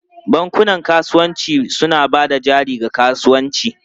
Bankunan kasuwanci suna ba da jari ga kasuwanci.